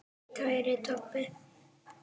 Kæri Tobbi.